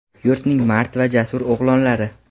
yurtning mard va jasur o‘g‘lonlari!.